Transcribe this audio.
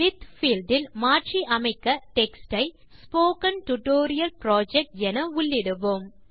with field இல் மாற்றி அமைக்க டெக்ஸ்ட் ஐ ஸ்போக்கன் டியூட்டோரியல் புரொஜெக்ட் என உள்ளிடுவோம்